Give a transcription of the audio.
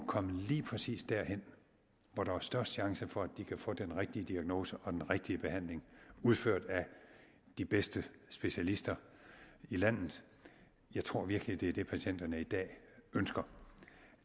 komme lige præcis derhen hvor der er størst chance for at de kan få den rigtige diagnose og den rigtige behandling udført af de bedste specialister i landet jeg tror virkelig at det er det patienterne i dag ønsker